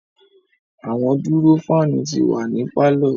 Awọn duro fan ti wa ni parlour